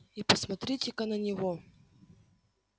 и посмотрите ка на него